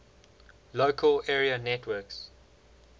local area networks